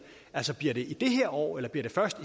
altså bliver det i år eller bliver det først